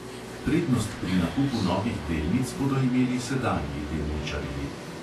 Prednost pri nakupu novih delnic bodo imeli sedanji delničarji.